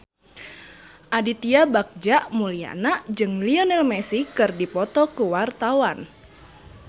Aditya Bagja Mulyana jeung Lionel Messi keur dipoto ku wartawan